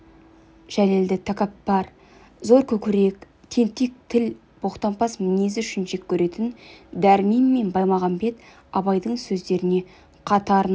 жәлелді тәкаппар зор көкірек тентек тіл боқтампаз мінезі үшін жек көретін дәрмен мен баймағамбет абайдың сөздеріне қатарынан ден